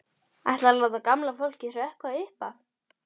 Ætlarðu að láta gamla fólkið hrökkva upp af?